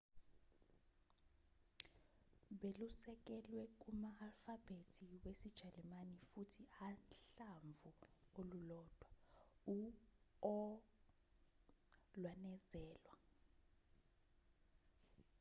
belusekelwe kuma-alfabhethi wesijalimane futhi uhlamvu olulodwa u-õ/õ lwanezelwa